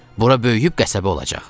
"Bura böyüyüb qəsəbə olacaq."